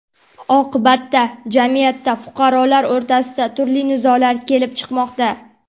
Oqibatda jamiyatda fuqarolar o‘rtasida turli nizolar kelib chiqmoqda.